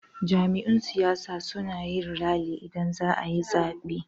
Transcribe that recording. Jam'iyun siyasa suna yin rali idan zaayi zaben